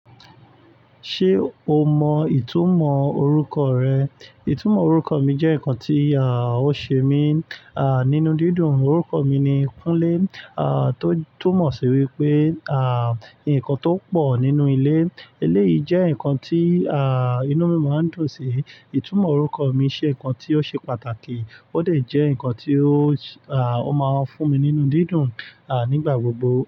Ṣé o mọ ìtumọ̀ orúkọ rẹ? Ìtumọ̀ orúkọ mi jẹ́ nǹkan tí, à, ó ṣe mí, à, nínú dídùn. Orúkọ mi ni Kúnlé, à, tó túmọ̀ sí wípé, à, ǹkan tó pọ̀ nínú ilé. Eléyìí jẹ́ ǹkan tí, à, inú mi máa ń dùn sí. Ìtumọ̀ orúkọ mi ṣe ǹkan tí ó ṣe pàtàkì ó dà jẹ ǹkan tí ó, à, ó máa ń fún mi nínú dídùn, à, nígbà gbogbo.